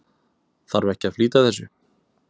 Þarf ekki að flýta þessu?